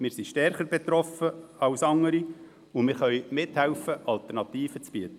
Wir sind stärker betroffen als andere, und wir können mithelfen, Alternativen zu bieten.